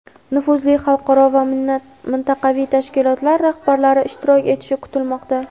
nufuzli xalqaro va mintaqaviy tashkilotlar rahbarlari ishtirok etishi kutilmoqda.